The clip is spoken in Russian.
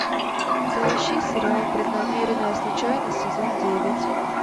поищи сериал преднамеренная случайность сезон девять